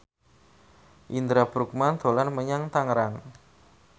Indra Bruggman dolan menyang Tangerang